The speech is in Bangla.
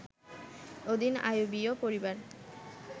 অধীন আইয়ুবীয় পরিবার